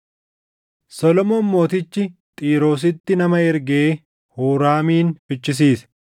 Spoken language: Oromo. Solomoon mootichi Xiiroositti nama ergee Huuraamin fichisiise;